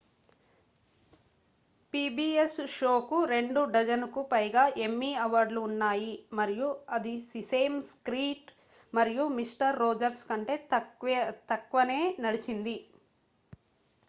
PbS షోకు రెండు-డజనుకు పైగా ఎమ్మీ అవార్డులు ఉన్నాయి మరియు అది సిసేమ్ స్ట్రీట్ మరియు మిస్టర్ రోజర్స్ కంటే తక్కువే నడిచింది